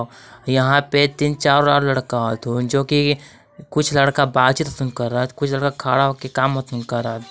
यहां पे तीन चार और लड़का हथुन जोकि कुछ लड़का बातचीत हथुन करात कुछ लड़का खड़ा होके काम हथून करत।